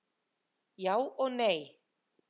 Já og nei!